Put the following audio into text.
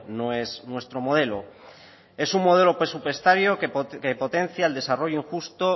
no es nuestro modelo es un modelo presupuestario que potencia el desarrollo injusto